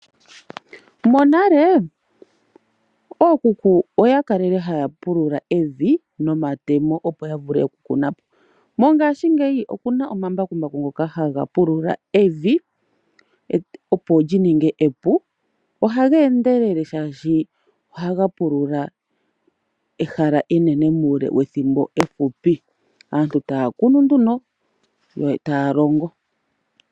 Monale ookuku oyakalele hayapulula evi nomatemo opo yavule oku kunapo. Mongashingeyi okuna omambakumbaku ngoka hagapulula evi opo lyininge epu, ohageendelele shashi ohaga pulula ehala enene muule wethimbo ehupi. Aantu taa kunu nduno yotaalongo.